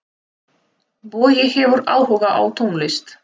Bogi hefur áhuga á tónlist.